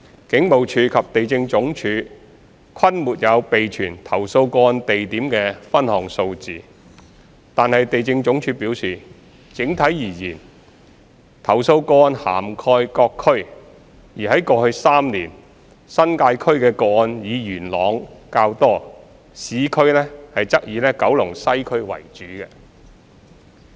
警務處及地政總署均沒有備存投訴個案地點的分項數字，惟地政總署表示，整體而言，投訴個案涵蓋各區，而在過去3年，新界區的個案以元朗較多，市區則以九龍西區為主。